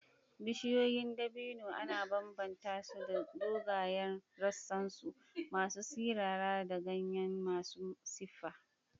Bishiyoyin dabino ana bambanta su da dogayen rassansu masu sirara da ganye masu siffa.